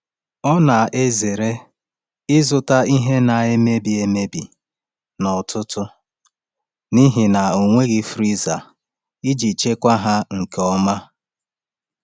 Ọ na-ezere ịzụta ihe ndị na-emebi emebi n’ọtụtù n’ihi na ọ nweghị friza iji chekwaa ha nke ọma.